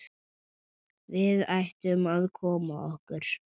Við ættum að koma okkur.